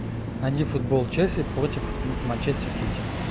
найди футбол челси против манчестер сити